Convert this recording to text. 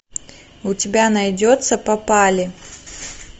у тебя найдется попали